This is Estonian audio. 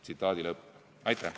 " Aitäh!